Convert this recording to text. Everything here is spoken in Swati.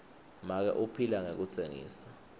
make uphila ngekutsengisa